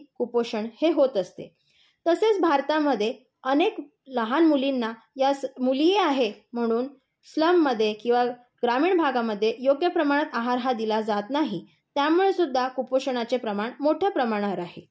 कुपोषण हे होत असते. तसेच भारतामध्ये अनेक लहान मुलींना मुली आहे म्हणून स्लममध्ये किंवा ग्रामीण भागामध्ये योग्य प्रमाणात आहार हा दिला जात नाही. त्यामुळे सुद्धा कुपोषणाचे प्रमाण मोठ्या प्रमाणावर आहे.